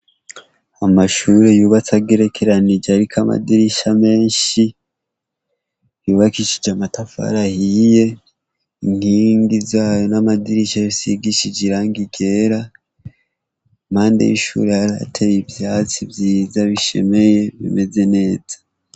Amashuri yubatse agerekeranije ariko amadirisha menshi, yubakishije amatafari ahiye, inkingi z'ayo n'amadirisha bisigishije irangi ryera. Impande y'ishure hateye ivyatsi vyiza bishemeye bimeze neza.